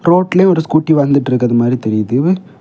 ரோட்லயே ஒரு ஸ்கூட்டி வந்துற்றுக்குறது மாரி தெரியுது.